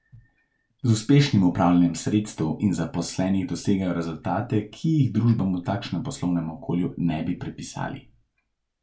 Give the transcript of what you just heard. Z uspešnim upravljanjem sredstev in zaposlenih dosegajo rezultate, ki jih družbam v takšnem poslovnem okolju ne bi pripisali.